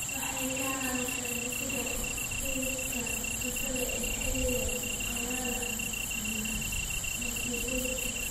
Waxay ka caawisaa dhisidda kaydka cuntada ee xilliga qalalan ama masiibooyinka.